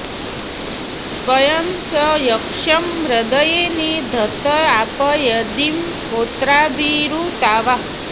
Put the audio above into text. स्वयं स यक्ष्मं हृदये नि धत्त आप यदीं होत्राभिरृतावा